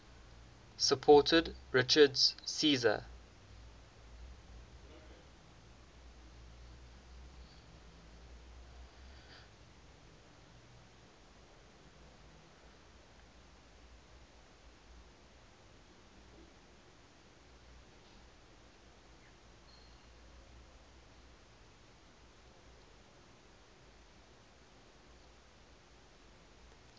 supported richard's seizure